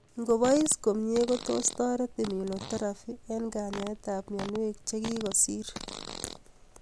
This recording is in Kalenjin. Ngobais komie kotos toret immunotherapy eng' kanyaetab mionwek chekikosir